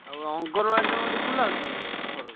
ଆଉ ଅଙ୍ଗନବାଡି ତମର ଖୁଲା ହଉଛି ନା ସରୋଜ?